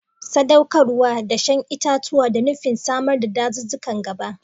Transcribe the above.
Sadaukarwar dashen itatuwa da nufin samar da dazuzzukan gaba.